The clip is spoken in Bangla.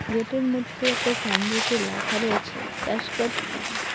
গেটের মোদ্দে একটা সাইনবোর্ডে লেখা রয়েছে ক্যাশকার্ড ক্যাম্প ।